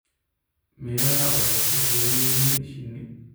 Miraha waxay ku xiran yihiin shinni.